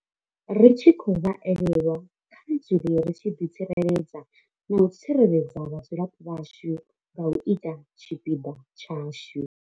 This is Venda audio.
Ri tshi khou vha elelwa, kha ri dzule ri tshi ḓitsireledza na u tsireledza vhadzulapo vhashu nga u ita tshipiḓa tshashu.